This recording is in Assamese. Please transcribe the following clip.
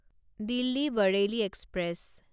দিল্লী বৰেইলী এক্সপ্ৰেছ